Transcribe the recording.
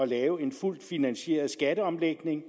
lave en fuldt finansieret skatteomlægning